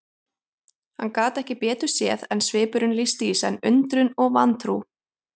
Hann gat ekki betur séð en svipurinn lýsti í senn undrun og vantrú.